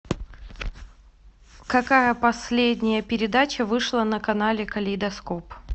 какая последняя передача вышла на канале калейдоскоп